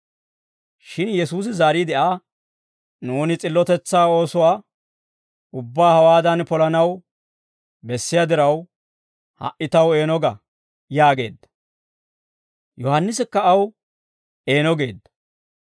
Shin Yesuusi zaariide Aa, «Nuuni s'illotetsaa oosuwaa ubbaa hawaadan polanaw bessiyaa diraw, ha"i taw eeno ga» yaageedda. Yohaannisikka aw eeno geedda.